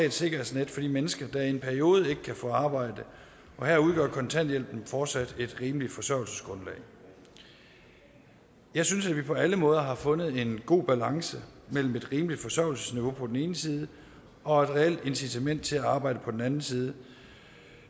et sikkerhedsnet for de mennesker der i en periode ikke kan få arbejde og her udgør kontanthjælpen fortsat et rimeligt forsørgelsesgrundlag jeg synes at vi på alle måder har fundet en god balance mellem et rimeligt forsørgelsesniveau på den ene side og et reelt incitament til at arbejde på den anden side